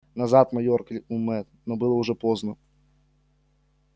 назад майор крикнул мэтт но было уже поздно